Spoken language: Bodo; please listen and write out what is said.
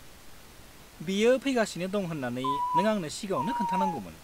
बियो फैगासिनो दं होन्नानै नों आंनो सिगाङावनो खोन्थानांगौमोन।